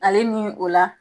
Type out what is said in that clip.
Ale nin o la